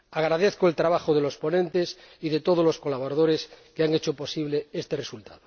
Agradezco el trabajo de los ponentes y de todos los colaboradores que han hecho posible este resultado.